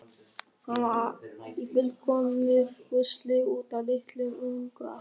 Hann var í fullkomnu rusli út af litlum unga.